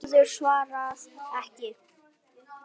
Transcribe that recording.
Urður svarað ekki.